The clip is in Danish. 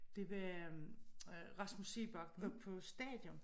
Det var øh Rasmus Seebach oppe på stadion